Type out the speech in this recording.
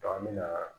an bɛ na